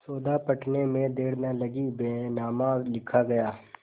सौदा पटने में देर न लगी बैनामा लिखा गया